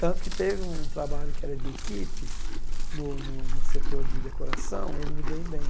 Tanto que teve um trabalho que era de equipe no no no setor de decoração e eu não me dei bem.